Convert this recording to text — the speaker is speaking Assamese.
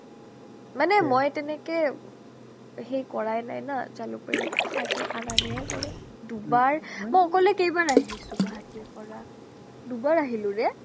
মানে মই তেনেকে সেই কৰাই নাই না jalukbari পৰা অহা যোৱাই আনা নিয়াই কৰে দুবাৰ মই অকলে কেইবাৰ আহিছো guwahati ৰ পৰা দুবাৰ আহিলোৰে